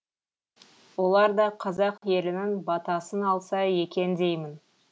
олар да қазақ елінің батасын алса екен деймін